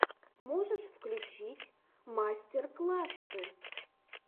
можешь включить мастер классы